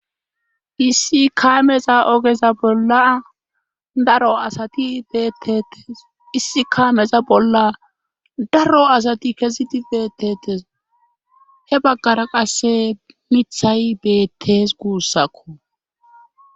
Issi kaameza ogeza bolla daro asati beettetes issi kaameza bolla daro asati kezidi beettetes hebaggara qasse mithay beettes guussakko.